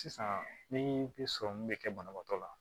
Sisan ni bi sɔrɔmu bɛ kɛ banabaatɔ la